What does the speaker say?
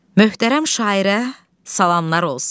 Möhtərəm şairə salamlar olsun.